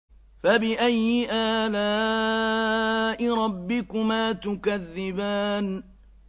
فَبِأَيِّ آلَاءِ رَبِّكُمَا تُكَذِّبَانِ